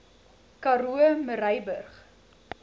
karoo murrayburg